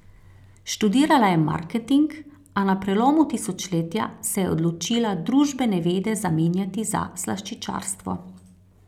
Študirala je marketing, a na prelomu tisočletja se je odločila družbene vede zamenjati za slaščičarstvo.